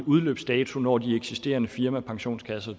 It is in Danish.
udløbsdato når de eksisterende firmapensionskasser